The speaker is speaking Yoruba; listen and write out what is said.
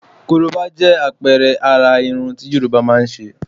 Korobá jẹ́ àpẹẹrẹ àrà irun tí Yorùbá máa ń ṣe.